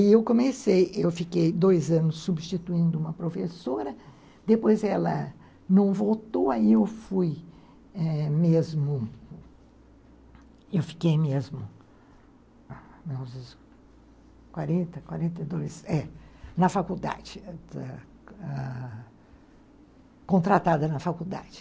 Aí eu comecei, eu fiquei dois anos substituindo uma professora, depois ela não voltou, aí eu fui êh mesmo, eu fiquei mesmo, não sei, quarenta, quarenta e dois, é, na faculdade, ãh, contratada na faculdade.